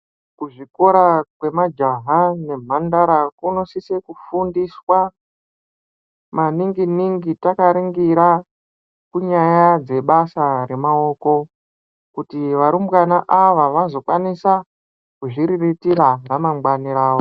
Kuzvikora kwemajaha nemhandara kunosise kufundiswa maningi ningi takaringira kunyaya dzebasa remawoko, kuti varumbwana ava, vazvokwanisa kuzviriritira ramangwane ravo.